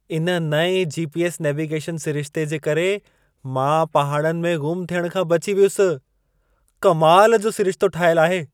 इन नएं GPS. Navigation सिरिशिते जे करे मां पहाड़नि में ग़ुम थियण खां बची वियुसि। कमाल जो सिरिशितो ठाहियल आहे।